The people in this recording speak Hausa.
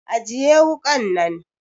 Ajiye wukan nan!